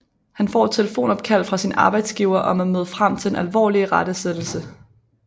Han får et telefonopkald fra sin arbejdsgiver om at møde frem til en alvorlig irettesættelse